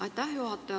Aitäh, juhataja!